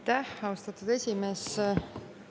Aitäh, austatud esimees!